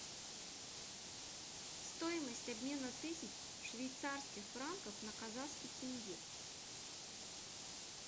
стоимость обмена тысяч швейцарских франков на казахский тенге